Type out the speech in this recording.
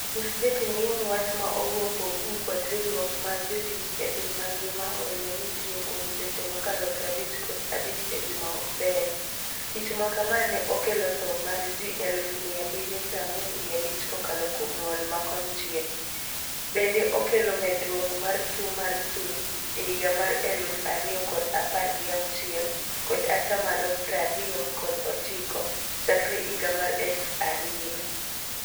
Nyis jatendei ni wach ma owuok kuom WHO kod riwruok mar jotich e piny mangima(ILO) oelo ni tio kuom seche mokalo prabich kod abich e juma okber. Tich makama ne okelo tho mar jii eluf mia abirio prangwen gi abich kokalo kuom ngol ma konchiel. Bende okelo medruuok mar tuo mar chuny e higa mar eluf ario kod apar gi auchiel kod atamalo prario kod ochiko chakre higa mar eluf ario.